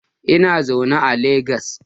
Na zauna a Legas